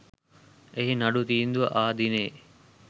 එහි නඩු තීන්දුව ආ දිනයේ